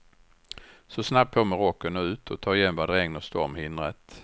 Så snabbt på med rocken och ut och ta igen vad regn och storm hindrat.